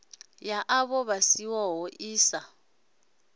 ya ṱho ḓisiso i sa